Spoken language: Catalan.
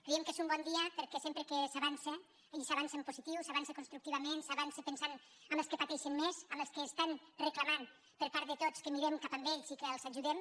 creiem que és un bon dia perquè sempre que s’avança i s’avança en positiu s’avança constructivament s’avança pensant en els que pateixen més en els que reclamen per part de tots que mirem cap a ells i que els ajudem